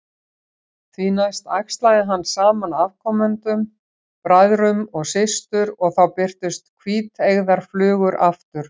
Því næst æxlaði hann saman afkomendunum, bræðrum við systur, og þá birtust hvíteygðar flugur aftur.